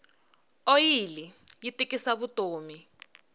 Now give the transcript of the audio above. oyili yi tikisa vutomi